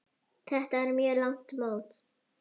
Þetta var mjög langt mót.